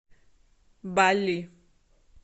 балли